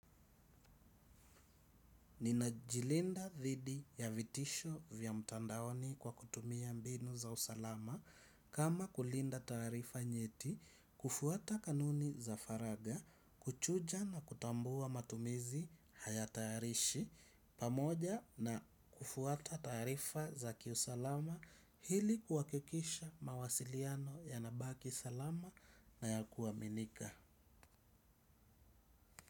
Ninajilinda dhidi ya vitisho vya mtandaoni kwa kutumia mbinu za usalama kama kulinda tarifa nyeti kufuata kanuni za faragha kuchuja na kutambua matumizi haya tayarishi pamoja na kufuata tarifa za kiusalama ili kuhakikisha mawasiliano yanabaki salama na ya kuaminika.